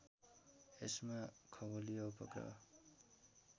यसमा खगोलीय उपग्रह